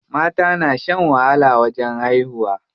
Mata na shan wahala wajen haihuwa.